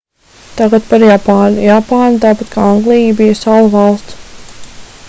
tagad par japānu japāna tāpat kā anglija bija salu valsts